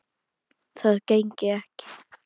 Það gengi ekki